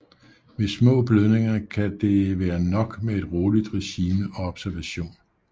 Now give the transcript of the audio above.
Ved små blødninger kan det være nok med et roligt regime og observation